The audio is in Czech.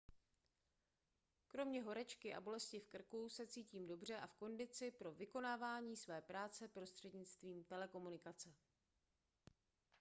kromě horečky a bolesti v krku se cítím dobře a v kondici pro vykonávání své práce prostřednictvím telekomunikace